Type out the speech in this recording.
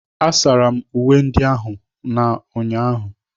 Asara m uwe ndị ahu n'ụnyaahụ.